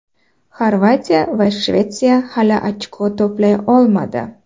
Xorvatiya va Shvetsiya hali ochko to‘play olmadi.